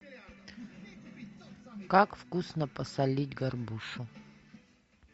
как вкусно посолить горбушу